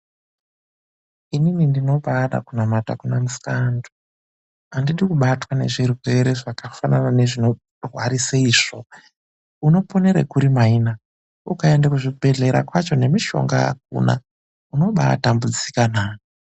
Inini ndinobada kunamata kuna musikaantu. Handidi kubatwa nezvirwere zvakafanana nezvinorwarisa itsvo. Unoponere kuri maina ukaenda kuzvibhedhlera kwacho nemishonga hakuna unobatambudzikana.